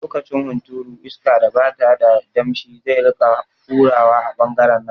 Lokacin hunturu iska da bata da damshi zai rika hurawa a ɓangaren nan